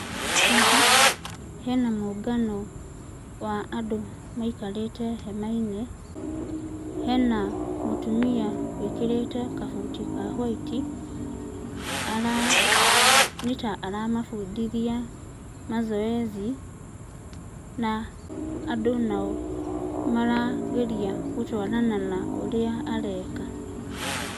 Haha hena mũngano wa andũ maikarĩte hema-inĩ. Hena mũtumia wĩkĩrĩte kabuti ka hwaiti ara nĩ ta aramabundithia mazoezi, na andũ nao nĩ ta marageria gũtwarana na ũrĩa areka.